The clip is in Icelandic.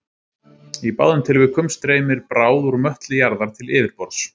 í báðum tilvikum streymir bráð úr möttli jarðar til yfirborðs